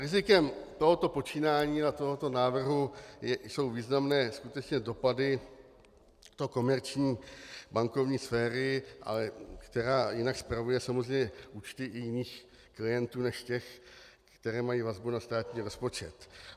Rizikem tohoto počínání a tohoto návrhu jsou významné skutečně dopady do komerční bankovní sféry, která jinak spravuje samozřejmě účty i jiných klientů než těch, které mají vazbu na státní rozpočet.